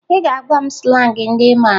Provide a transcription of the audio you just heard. Ị ga-agwa m slangị ndị ị mara